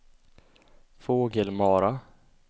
Fågelmara